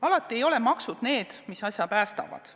Alati ei ole maksud need, mis asja päästavad.